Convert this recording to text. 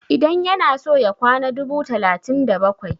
idan yana so ya kawo dubu biyu da talatin da bakwai?